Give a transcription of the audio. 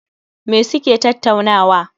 Me suke tattaunawa?